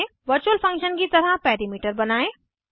virtual function की तरह parameter बनायें